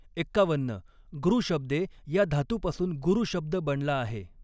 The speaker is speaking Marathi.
एक्कावन्न गृ शब्दे या धातूपासून गुरु शब्द बनला आहे.